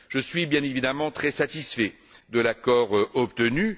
Je suis évidemment très satisfait de l'accord obtenu.